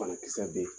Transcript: Banakisɛ bɛ yen